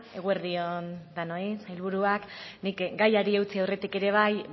eguerdi on denoi sailburuak nik gaiari eutsi aurretik ere bai